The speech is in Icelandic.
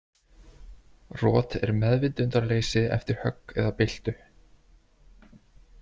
Rot er meðvitundarleysi eftir högg eða byltu.